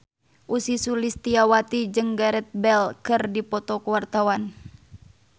Ussy Sulistyawati jeung Gareth Bale keur dipoto ku wartawan